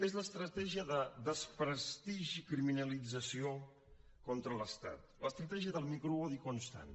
és l’estratègia de desprestigi i criminalització contra l’estat l’estratègia del microodi constant